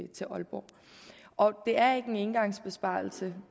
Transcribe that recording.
til aalborg og det er ikke en engangsbesparelse